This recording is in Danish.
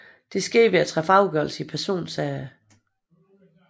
Det skete ved at træffe afgørelser i personsager